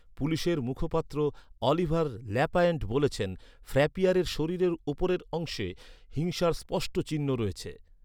পুলিশের মুখপাত্র Oliver Lapointe বলেছেন, ফ্র্যাপিয়ারের শরীরের উপরের অংশে "হিংসার স্পষ্ট চিহ্ন" রয়েছে।